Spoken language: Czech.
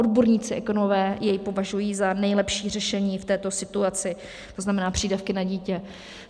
Odborníci, ekonomové jej považují za nejlepší řešení v této situaci, to znamená přídavky na dítě.